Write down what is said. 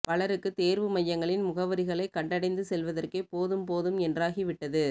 பலருக்குத் தேர்வு மையங்களின் முகவரிகளைக் கண்டடைந்து செல்வதற்கே போதும் போதும் என்றாகிவிட்டது